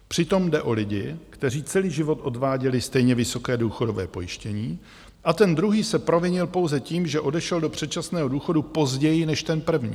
Přitom jde o lidi, kteří celý život odváděli stejně vysoké důchodové pojištění a ten druhý se provinil pouze tím, že odešel do předčasného důchodu později než ten první.